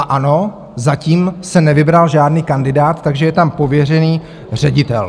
A ano, zatím se nevybral žádný kandidát, takže je tam pověřený ředitel.